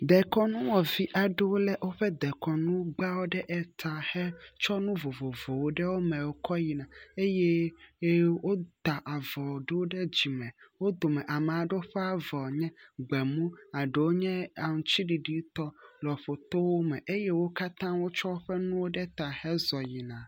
Dekɔnuwɔvi aɖewo le woƒe dekɔnugbawo ɖe eta hetsɔ enu vovovowo ɖe wo me kɔ yi na eye ye wota avɔ ɖewo ɖe dzime wo dome ame aɖewo ƒe avɔ nye gbemu eɖewo nye atsiɖiɖi tɔ le ƒotow me eye wo katã wotsɔ woƒe nuwo ɖe ta heyina.